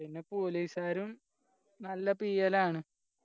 പിന്നെ police കാരും നല്ല പീയലാണ്